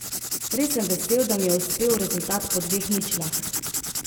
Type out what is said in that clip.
Res sem vesel, da mi je uspel rezultat po dveh ničlah.